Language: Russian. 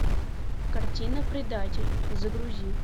картина предатель загрузи